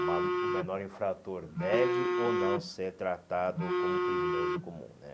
O ma o menor infrator deve ou não ser tratado como criminoso comum né.